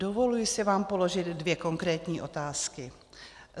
Dovoluji si vám položit dvě konkrétní otázky.